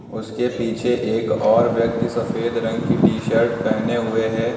उसके पीछे एक और व्यक्ति सफेद रंग की टी शर्ट पहने हुए हैं।